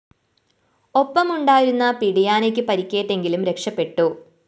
ഒപ്പമുണ്ടായിരുന്ന പിടിയാനക്ക് പരിക്കേറ്റെങ്കിലും രക്ഷപെട്ടു